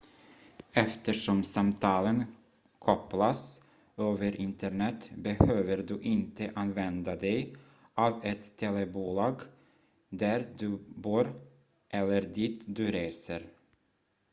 eftersom samtalen kopplas över internet behöver du inte använda dig av ett telebolag där du bor eller dit du reser